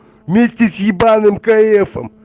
вместе с ебаным каэфом